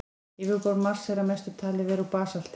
Yfirborð Mars er að mestu talið vera úr basalti.